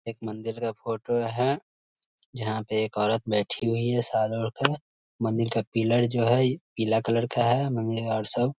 एक मंदिर का फोटो है जहाँ पे एक औरत बैठी हुई है मंदिर का पीलर जो है पीला कलर का है मंदिर में और सब --